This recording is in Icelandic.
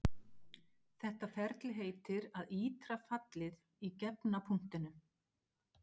Þetta ferli heitir að ítra fallið í gefna punktinum.